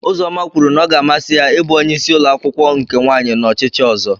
Uzoma kwuru na ọ ga-amasị ya ịbụ onye isi umuakwukwo nke nwanyị n'ochichi ozo.